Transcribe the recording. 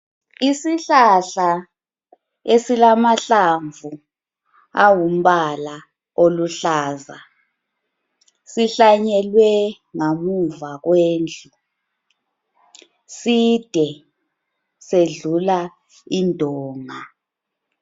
Isihlahla esilamahlamvu awumbala oluhlaza sihlanyelwe ngamuva kwendlu ,side sedlula indonga